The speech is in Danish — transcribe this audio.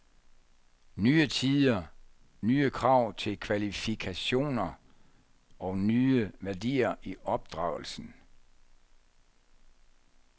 Nye tider, nye krav til kvalifikationer og nye værdier i opdragelsen.